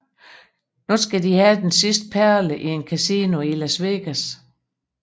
Nu skal de have den sidste perle i et kasino i Las Vegas